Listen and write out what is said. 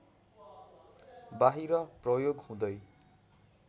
बाहिर प्रयोग हुँदै